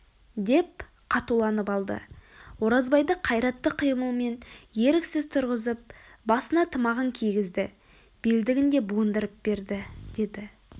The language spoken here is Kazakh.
деп қатуланып алды оразбайды қайратты қимылмен еріксіз тұрғызып басына тымағын кигізді белдігін де буындырып берді деді